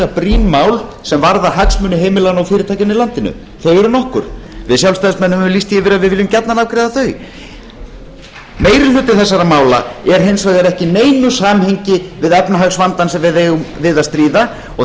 brýn mál sem varða hagsmuni heimilanna og fyrirtækjanna í landinu þau eru nokkur við sjálfstæðismenn höfum lýst því yfir að við viljum gjarnan afgreiða þau meiri hluti þessara mál er hins vegar ekki í neinu samhengi við efnahagsvandann sem við eigum við að stríða og